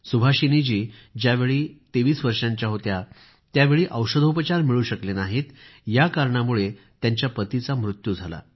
सुभाषिनीजी ज्यावेळी 23 वर्षांच्या होत्या त्यावेळी औषधोपचार मिळू शकले नाहीत या कारणामुळे त्यांच्या पतीचा मृत्यू झाला